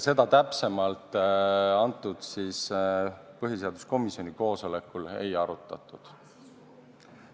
Seda täpsemalt põhiseaduskomisjoni koosolekul ei arutatud.